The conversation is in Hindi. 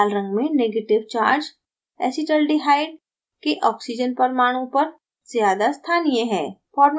लाल रंग में negative ऋणात्मक charge acetaldehyde के oxygen परमाणु पर ज़्यादा स्थानीय है